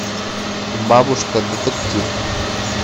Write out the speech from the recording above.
бабушка детектив